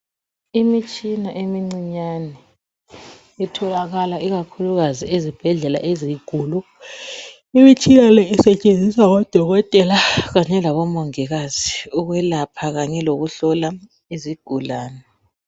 Imitshina emincinyane itholakala ikakhulukazi ezibhedlela ezinkulu imitshina le isetshenziswa ngodokotela kanye labomongikazi ukwelapha kanye lokuhlola izigulane.